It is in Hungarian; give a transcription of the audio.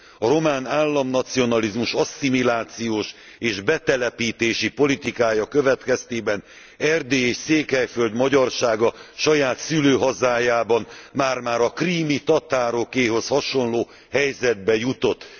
A román államnacionalizmus asszimilációs és betelepítési politikája következtében Erdély és Székelyföld magyarsága saját szülőhazájában már már a krími tatárokéhoz hasonló helyzetbe jutott.